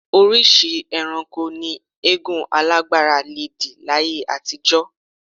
Oríṣìí ẹranko ni eégún alágbára le dì láyé àtijọ́